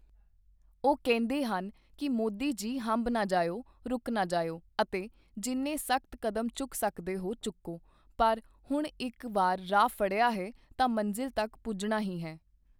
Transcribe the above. ਉਹ ਕਹਿੰਦੇ ਹਨ ਕਿ ਮੋਦੀ ਜੀ ਹੰਭ ਨਾ ਜਾਇਓ, ਰੁਕ ਨਾ ਜਾਇਓ ਅਤੇ ਜਿੰਨੇ ਸਖ਼ਤ ਕਦਮ ਚੁੱਕ ਸਕਦੇ ਹੋ, ਚੁੱਕੋ, ਪਰ ਹੁਣ ਇੱਕ ਵਾਰ ਰਾਹ ਫੜਿਆ ਹੈ, ਤਾਂ ਮੰਜ਼ਿਲ ਤੱਕ ਪੁੱਜਣਾ ਹੀ ਹੈ।